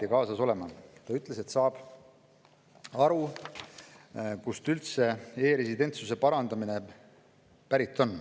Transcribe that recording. ütles, et saab aru, kust e-residentsuse parandamine üldse pärit on.